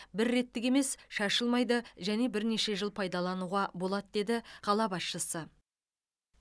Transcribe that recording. бір реттік емес шашылмайды және бірнеше жыл пайдалануға болады деді қала басшысы